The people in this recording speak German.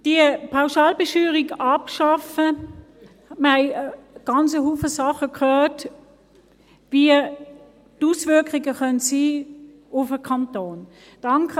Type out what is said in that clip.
Diese Pauschalbesteuerung abzuschaffen – hierzu haben wir ganz viele Dinge gehört, welches die Auswirkungen auf den Kanton sein können.